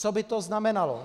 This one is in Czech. Co by to znamenalo?